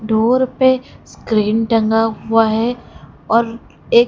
door पे screen टंगा हुआ है और एक--